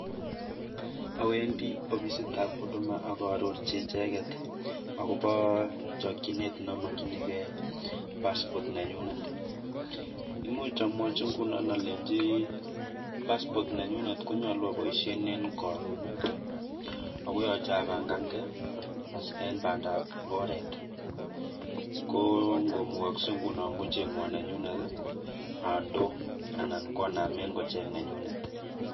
Awendi ofisitab huduma aka arorchi icheket akobo chokchinet neamakchinikei passport nenyunet . Much amwochi nguno alenchi passport nenyunet konyolu aboishen eng karon ako yoche apangankei eng bandaap oret, ko komukaskei nguno kochengwa nenyunet andoo anan koname kocheng nenyunet.